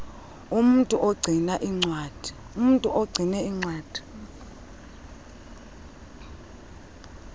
umntu ogcina iincwadi